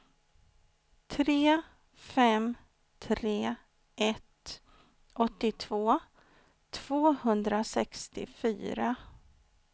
tre fem tre ett åttiotvå tvåhundrasextiofyra